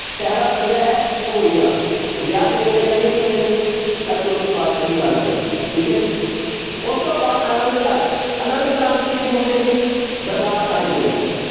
ਸ਼ੈਰਾ ਸਜਿਆ ਹੈ ਘੋੜੀਆਂ ਵਿਆਹ ਤੇ ਗਾਈਆਂ ਜਾਂਦੀਆਂ ਜੀ ਮੁੰਡੇ ਦੇ ਤਾਂ ਚੌਥੀ ਪਾਤਿਸ਼ਾਹੀ ਯਾਦ ਰਹਿ ਜਾਏਗਾ ਠੀਕ ਹੈ ਜੀ, ਉਸ ਤੋਂ ਬਾਅਦ ਆਨੰਦ ਕਾਰਜ, ਆਨੰਦ ਕਾਰਜ ਕਿੱਥੇ ਹੁੰਦੇ ਹੈ ਜੀ ਦਰਬਾਰ ਸਾਹਿਬ ਦੇ ਵਿੱਚ।